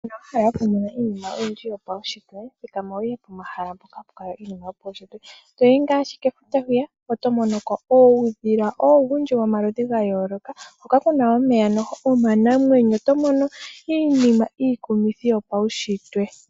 Uuna wa hala okumona iinima oyindji yopaunshitwe, thikama wu ye pomahala mpoka hapu kala iinima yopaunshitwe. Uuna wa yi ngaashi kefuta, oto mono ko uudhila owundji womaludhi ga yooloka, hoka wo ku na omeya omanamwenyo. Oto mono ko iinima iikumithi yopaunshitwe.